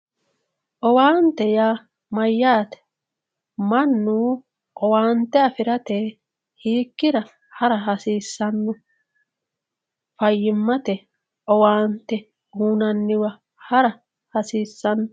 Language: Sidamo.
Owaante yaa mayyate mannu owaante afirate hiikkira hara hasiisano fayyimate uuyinanniwa hara hasiisano.